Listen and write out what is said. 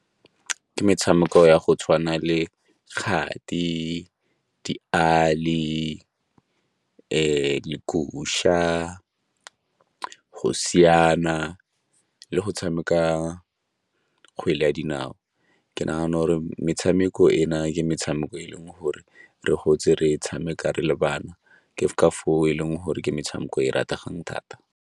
Ke metshameko ya go tshwana le kgati, diali, , go siana le go tshameka kgwele ya dinao. Ke nagana gore metshameko ena le metshameko e leng gore re gotse re tshameka re le bana ke ka foo e leng gore ke metshameko e e rategang thata.